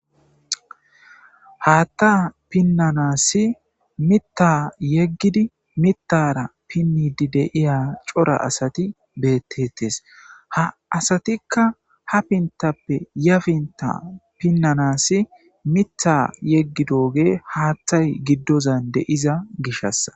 Haatha pinanasi Mitha yegidi mithara pinidi de'iya cora asati beetetes. Ha asatika ha pintappe ya pinta pinanasi Mitha yegidogey haathay gidozan de'iza gishasa.